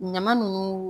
Ɲama nunnu